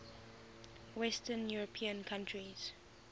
western european countries